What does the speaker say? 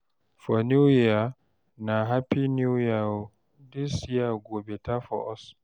for new year na "hapi new year o, this year go beta for us"